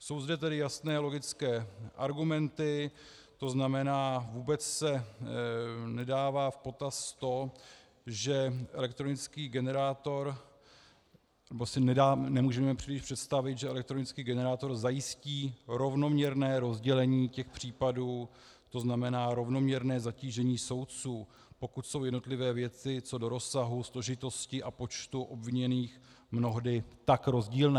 Jsou zde tedy jasné, logické argumenty, to znamená, vůbec se nebere v potaz to, že elektronický generátor - nebo si nemůžeme příliš představit, že elektronický generátor zajistí rovnoměrné rozdělení těch případů, to znamená rovnoměrné zatížení soudců, pokud jsou jednotlivé věci co do rozsahu, složitosti a počtu obviněných mnohdy tak rozdílné.